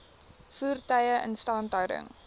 voertuie instandhouding